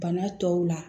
Bana tɔw la